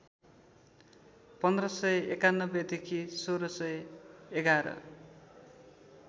१५९१ देखि १६११